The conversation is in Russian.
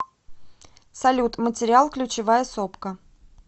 салют материал ключевая сопка